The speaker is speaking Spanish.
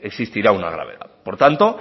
existirá una gravedad por tanto